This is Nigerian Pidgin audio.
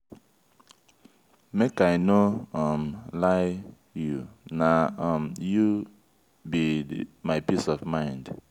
make i no um lie you na um you be my peace of mind.